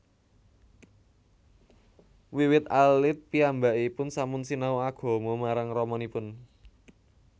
Wiwit alit piyambakipun sampun sinau agama marang ramanipun